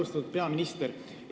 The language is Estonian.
Austatud peaminister!